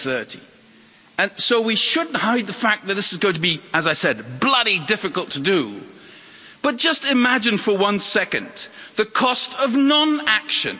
2030. So we shouldn't hide the fact that this is going to be, as I said, bloody difficult to do but just imagine for one second the cost of non action.